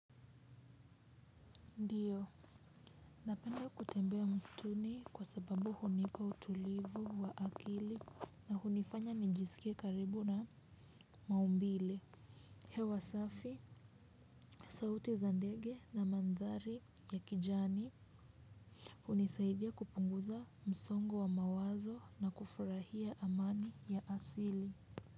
Ndio, napenda kutembea mstuni kwa sababu hunipa utulivu wa akili na hunifanya nijisikie karibu na maumbile. Hewa safi, sauti za ndege na mandhari ya kijani. Hunisaidia kupunguza msongo wa mawazo na kufurahia amani ya asili.